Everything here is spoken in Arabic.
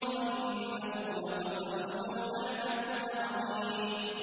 وَإِنَّهُ لَقَسَمٌ لَّوْ تَعْلَمُونَ عَظِيمٌ